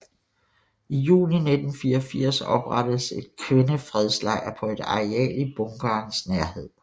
I juni 1984 oprettedes en kvindefredslejr på et areal i bunkerens nærhed